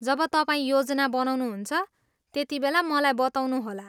जब तपाईँ योजना बनाउनुहुन्छ, त्यतिबेला मलाई बताउनुहोला।